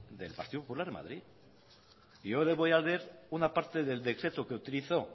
del partido popular de madrid y yo le voy a leer una parte del decreto que utilizó